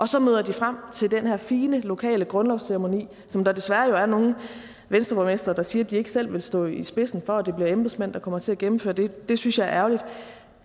så møder de frem til den her fine lokale grundlovsceremoni som der desværre jo er nogle venstreborgmestre der siger at de ikke selv vil stå i spidsen for og det bliver embedsmænd der kommer til at gennemføre det det synes jeg er ærgerligt